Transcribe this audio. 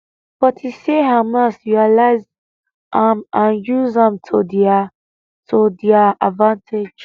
but he say hamas realise am and use am to dia to dia advantage